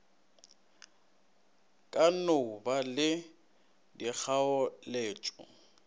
ka no ba le dikgaoletšo